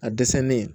A dɛsɛlen